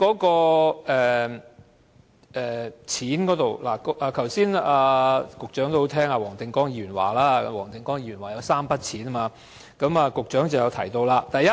金錢補償方面，局長剛才很聽黃定光議員的話，黃定光議員提及3筆錢，局長便予以回應。